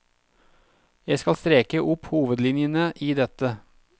Jeg skal streke opp hovedlinjene i dette.